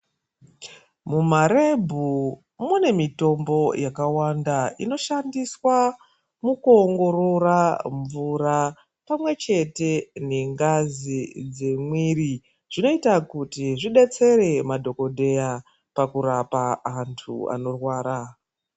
Mumarebhu mune mitombo yakawanda inoshandiswa mukuongorora mvura pamwe chete nengazi zvinoita kuti zvidetsere madhokodheya pakurapa antu anorwara.